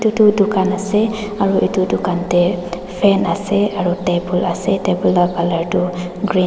etu dukan asey aro etu dukan deh fan asey aro table asey table la colour du green --